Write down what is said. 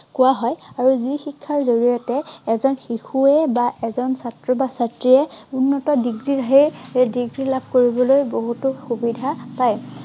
কোৱা হয়। আৰু যি শিক্ষাৰ জৰিয়তে এজন শিশুৱে বা এজন ছাত্ৰ বা ছাত্ৰীয়ে উন্নত ডিগ্ৰীৰ সেই ডিগ্ৰী লাভ কৰিবলৈ বহুতো সুবিধা পায়।